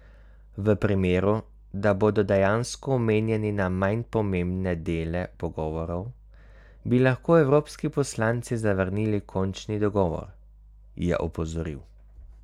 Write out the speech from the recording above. V primeru, da bodo dejansko omejeni na manj pomembne dele pogovorov, bi lahko evropski poslanci zavrnili končni dogovor, je opozoril.